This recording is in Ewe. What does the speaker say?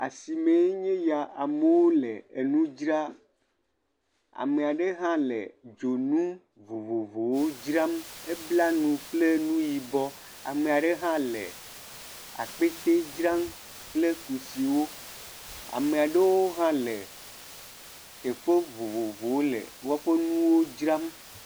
Asimee nye eya amewo le nudzra, ame aɖe hã la dzonu vovovowo dzram, ebla nu kple nu yibɔ, ame aɖe hã le akpete dzram kple kusiwo, ame aɖewo hã le, teƒe vovovowo le woƒe nuwo dzram.